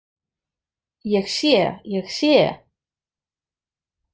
Ég sé, ég sé.